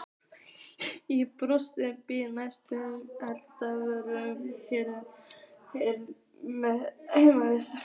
Í brosinu býr næstum gervöll hryggð heimsins.